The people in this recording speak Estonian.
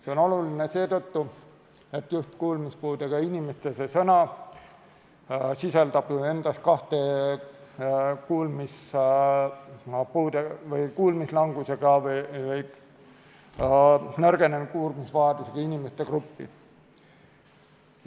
See on oluline seetõttu, et kuulmispuudega inimesed, see väljend sisaldab endas kahte kuulmislangusega või nõrgenenud kuulmisvajadusega inimeste gruppi.